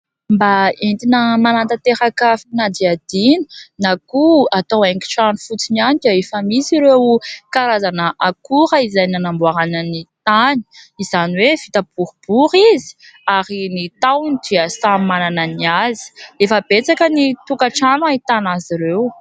Mba entina manatanteraka fanadihadiana na koa atao haingon-trano fotsiny ihany dia efa misy ireo karazana akora izay nanamboarana ny tany, izany hoe vita boribory izy ary ny tahony dia samy manana ny azy. Efa betsaka ny tokantrano no ahitana azy ireo.